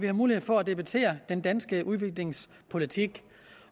har mulighed for at debattere den danske udviklingspolitik